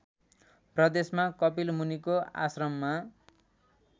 प्रदेशमा कपिलमुनिको आश्रममा